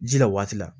Ji la waati la